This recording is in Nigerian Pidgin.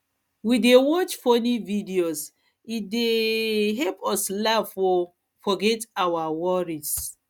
we dey watch we dey watch funny videos e dey um help us laugh um forget our um worries